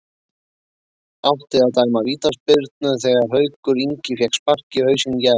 Átti að dæma vítaspyrnu þegar Haukur Ingi fékk spark í hausinn í gær?